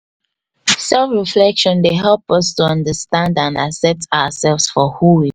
self reflection dey help us to understand and accept oursef for who we